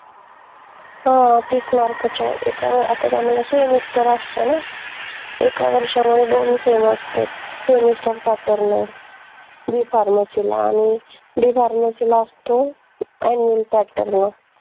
हां तीस mark का च एक आता आम्हाला semester असते ना एका वर्षांमध्ये दोन sem असते semesterpattern आय bpharmacy ला आनि dpharmacy ला असतो annual pattern मग